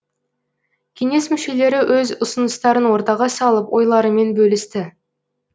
кеңес мүшелері өз ұсыныстарын ортаға салып ойларымен бөлісті